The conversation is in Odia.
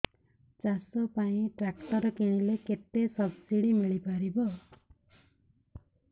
ଚାଷ ପାଇଁ ଟ୍ରାକ୍ଟର କିଣିଲେ କେତେ ସବ୍ସିଡି ମିଳିପାରିବ